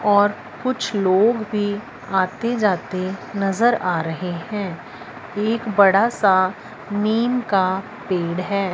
और कुछ लोग भी आते जाते नजर आ रहे हैं एक बड़ा सा नीम का पेड़ है।